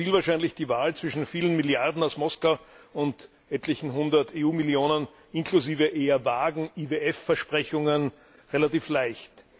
Da fiel wahrscheinlich die Wahl zwischen vielen Milliarden aus Moskau und etlichen hundert EU Millionen, inklusive eher vagen IWF Versprechungen, relativ leicht.